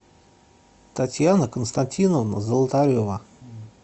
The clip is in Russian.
татьяна константиновна золотарева